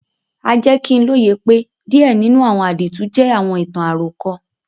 A jẹ ki n loye pe díẹ̀ nínú àwọn àdìtú jẹ àwọn ìtàn-àròkọ.